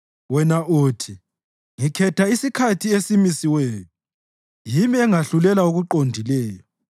Wena uthi, “Ngikhetha isikhathi esimisiweyo; yimi engahlulela okuqondileyo.